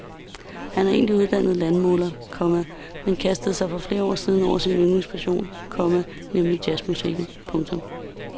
Han er egentlig uddannet landmåler, komma men kastede sig for flere år siden over sin yndlingspassion, komma nemlig jazzmusikken. punktum